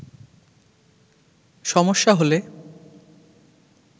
সমস্যা হলে